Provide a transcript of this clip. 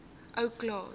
ou klaas